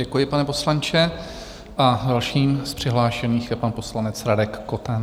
Děkuji, pane poslanče, a dalším z přihlášených je pan poslanec Radek Koten.